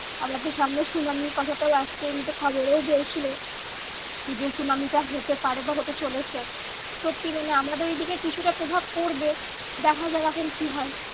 আবার তো সামনে সুনামির কথাটাও আসছে এমনিতে খবরেও বলছিলো যে সুনামিটা হতে পারে বা হতে চলেছে। সত্যি মানে আমাদের এইদিকে কিছুটা প্রভাব পড়বে। দেখা যাক এখন কি হয়।